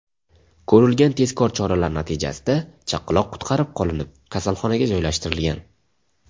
Ko‘rilgan tezkor choralar natijasida chaqaloq qutqarib qolinib, kasalxonaga joylashtirilgan.